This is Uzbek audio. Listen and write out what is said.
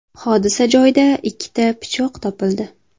Hodisa joyida ikkita pichoq topildi.